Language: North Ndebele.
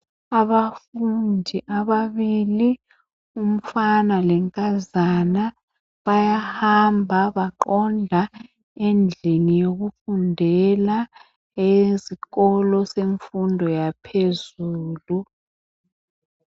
Abafundi ababili umfana lenkazana bayahamba baqonda endlini yokufundela esikolo semfundo yaphezulu.